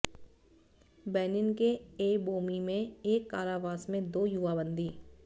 Benin के Abomey में एक कारावास में दो युवा बंदी